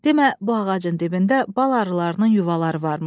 Demə, bu ağacın dibində bal arılarının yuvaları varmış.